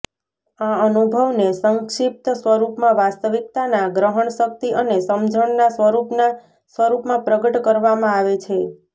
આ અનુભવને સંક્ષિપ્ત સ્વરૂપમાં વાસ્તવિકતાના ગ્રહણશક્તિ અને સમજણના સ્વરૂપના સ્વરૂપમાં પ્રગટ કરવામાં આવે છે